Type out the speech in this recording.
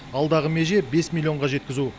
алдағы меже бес миллионға жеткізу